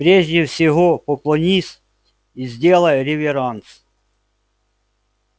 прежде всего поклонись и сделай реверанс